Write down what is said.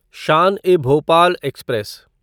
Shaan e Bhopal express